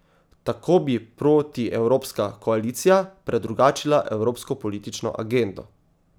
Tako bi protievropska koalicija predrugačila evropsko politično agendo.